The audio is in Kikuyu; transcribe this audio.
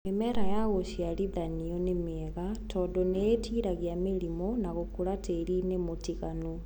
mĩmera ya gũciarithanio nĩmĩega tondu nĩĩtiragia mĩrimo na gũkũra tĩrini mũtiganu.